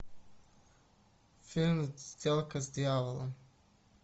фильм сделка с дьяволом